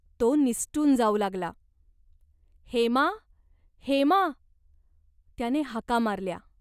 तो निसटून जाऊ लागला. "हेमा, हेमा !'त्याने हाका मारल्या.